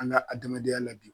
An ka adamadenya la bi.